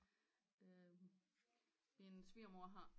Min svigermor har